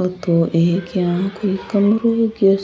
वो तो एक यहाँ कोई कमरों के